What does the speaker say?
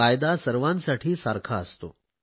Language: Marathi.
कायदा सर्वांसाठी सारखा असतो